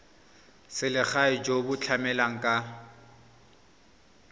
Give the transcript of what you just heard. selegae jo bo tlamelang ka